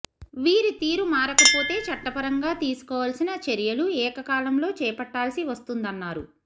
వీరి తీరు మారకపోతే చట్టపరంగా తీసుకోవాల్సిన చ్యలు ఏకకాలంలో చేపట్టాల్సి వస్తుందన్నారు